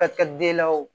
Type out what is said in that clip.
Ka kɛ den na o